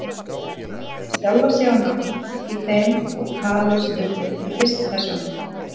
Hún nefnir sjálfa sig á nafn í þeim og talar stundum í fyrstu persónu.